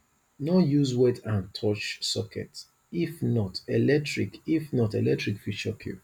no use wet hand touch socket if not electric if not electric fit shock you